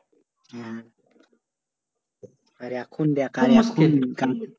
আর এখন দেখ